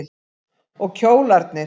Og kjólarnir.